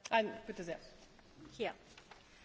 Tisztelt elnök asszony, képviselőtársaim!